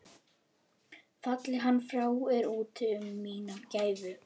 Falli hann frá er úti um mína gæfu.